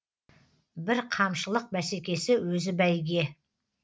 бірқамшылық бәсекесі өзі бәйге